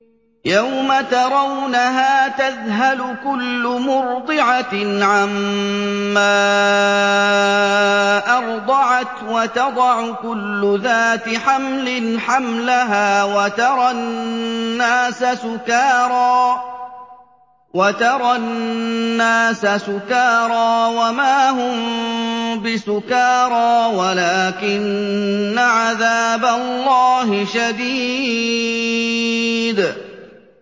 يَوْمَ تَرَوْنَهَا تَذْهَلُ كُلُّ مُرْضِعَةٍ عَمَّا أَرْضَعَتْ وَتَضَعُ كُلُّ ذَاتِ حَمْلٍ حَمْلَهَا وَتَرَى النَّاسَ سُكَارَىٰ وَمَا هُم بِسُكَارَىٰ وَلَٰكِنَّ عَذَابَ اللَّهِ شَدِيدٌ